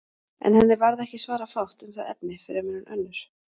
En henni varð ekki svara fátt um það efni fremur en önnur.